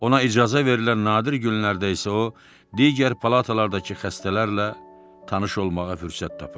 Ona icazə verilən nadir günlərdə isə o, digər palatalardakı xəstələrlə tanış olmağa fürsət tapırdı.